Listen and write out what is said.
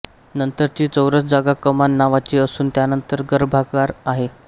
नंतरची चौरस जागा कमान नावाची असून त्यानंतर गर्भागार आहे